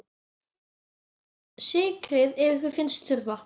Sykrið ef ykkur finnst þurfa.